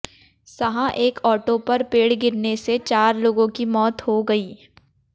सहां एक ऑटो पर पेड़ गिरने से चार लोगों की मौत हो गई